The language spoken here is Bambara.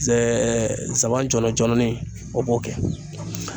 Saba jɔlɔ jɔlɔnin o b'o kɛ